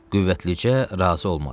Qüvvəticə razı olmadı.